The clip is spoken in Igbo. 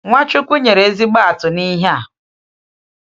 NwaChukwu nyere ezigbo atụ n’ihe a.